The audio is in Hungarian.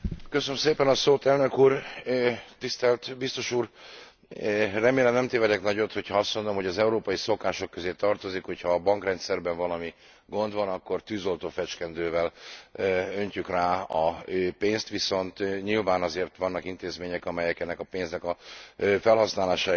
Elnök úr, tisztelt Biztos úr, remélem, nem tévedek nagyot, hogyha azt mondom, hogy az európai szokások közé tartozik, hogyha a bankrendszerben valami gond van, akkor tűzoltófecskendővel öntjük rá a pénzt, viszont nyilván azért vannak intézmények, amelyek ennek a pénznek a felhasználásáért is aggódnak.